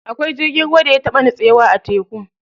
Akwai jirgin ruwan da ya taɓa nitsewa a teku.